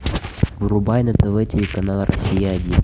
врубай на тв телеканал россия один